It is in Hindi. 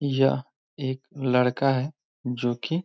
यह एक लड़का है जोकि --